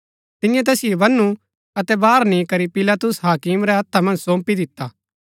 तियें तैसिओ बन्‍नू अतै बाहर नी करी पिलातुस हाकिम रै हत्था मन्ज सौंपी दिता